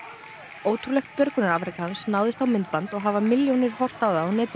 ótrúlegt björgunarafrek hans náðist á myndband og hafa milljónir horft á það á netinu